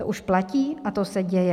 To už platí a to se děje.